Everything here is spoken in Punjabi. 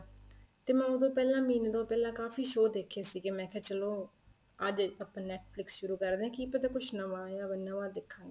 ਤੇ ਮੈਂ ਉਦੋ ਪਹਿਲਾਂ ਮਹੀਨੇ ਤੋਂ ਪਹਿਲਾ ਕਾਫ਼ੀ show ਦੇਖੇ ਸੀਗੇ ਮੈਂ ਕਿਹਾ ਚਲੋਂ ਅੱਜ ਆਪਾਂ Netflix ਸ਼ੁਰੂ ਕਰਦੇ ਹਾਂ ਕੀ ਪਤਾ ਕੁੱਛ ਨਵਾਂ ਆਇਆ ਹੋਵੇ ਨਵਾਂ ਦੇਖਾਗੇ